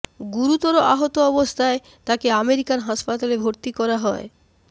গুরুতর আহত অবস্থায় তাকে আমেরিকার হাসপাতালে ভর্তি করা হয়